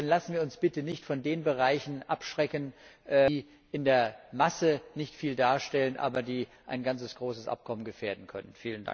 Lassen wir uns bitte nicht von den Bereichen abschrecken, die in der Masse nicht viel darstellen, aber die ein ganzes großes Abkommen gefährden können.